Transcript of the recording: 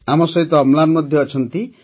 ଆମ ସହିତ ଅମ୍ଳାନ ମଧ୍ୟ ଅଛନ୍ତି